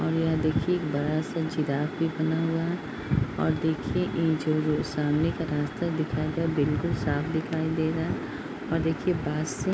और यह देखिये बड़ा सा जिराफ़ भी बना हुआ है और देखिए ये जो - जो सामने का रास्ता दिखाया गया है बिल्कुल साफ दिखाई दे रहा है और देखिये बाहर से --